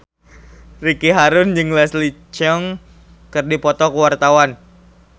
Ricky Harun jeung Leslie Cheung keur dipoto ku wartawan